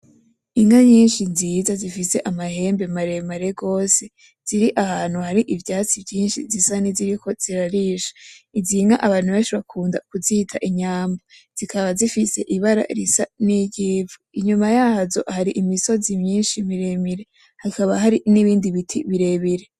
Inka nyinshi nziza zifise amahembe maremare gose, ziri ahantu hari ivyatsi vyinshi zisa niziriko zirarisha, izinka abantu benshi bakunda kuzita inyambo, zikaba zifise ibara risa niry'ivu, inyuma yazo hari imisozi myinshi miremire, hakaba hari n’ibindi biti birebire.